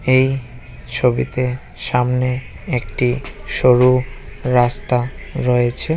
এই ছবিতে সামনে একটি সরু রাস্তা রয়েছে ।